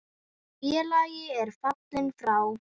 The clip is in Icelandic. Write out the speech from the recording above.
Félagi er fallinn frá.